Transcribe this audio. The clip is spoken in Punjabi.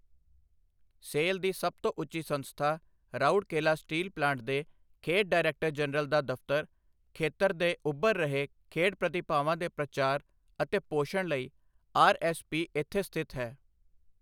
ਸੇਲ ਦੀ ਸਭ ਤੋਂ ਉੱਚੀ ਸੰਸਥਾ, ਰਾਉਰਕੇਲਾ ਸਟੀਲ ਪਲਾਂਟ ਦੇ ਖੇਡ ਡਾਇਰੈਕਟਰ ਜਨਰਲ ਦਾ ਦਫ਼ਤਰ, ਖੇਤਰ ਦੇ ਉੱਭਰ ਰਹੇ ਖੇਡ ਪ੍ਰਤਿਭਾਵਾਂ ਦੇ ਪ੍ਰਚਾਰ ਅਤੇ ਪੋਸ਼ਣ ਲਈ ਆਰ.ਐੱਸ.ਪੀ. ਇੱਥੇ ਸਥਿਤ ਹੈ।